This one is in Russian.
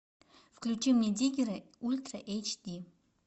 включи мне диггеры ультра эйч ди